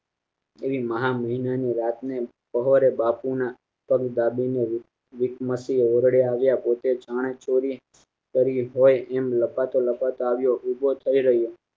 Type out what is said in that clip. એવી મહામહિના ની રાતે સવારે બાપુ ના સોરી બાબુ નો ઓરડે આવા પોતે જાણે ચોરી કરી હોય એમ લાપતા લાપતા આવ્યા વીજત જોઈ રહ્યો